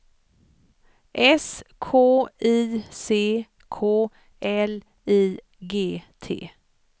S K I C K L I G T